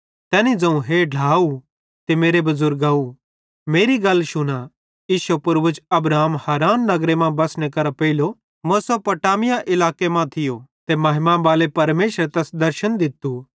तैनी ज़ोवं हे ढ्लाव ते मेरे बुज़ुर्गाव मेरी गल शुना इश्शो पूर्वज अब्राहमे हारान नगरे मां बसने करां पेइलो मेसोपोटामिया इलाके मां थियो ते महिमा बाले परमेशरे तैस दर्शन दित्तू